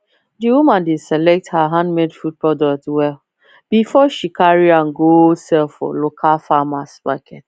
the woman dey select her handmade food product well before she carry am go sell for local farmers market